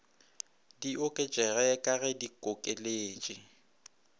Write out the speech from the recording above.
di oketšege ka ge dikokeletše